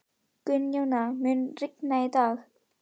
Gunnjóna, mun rigna í dag?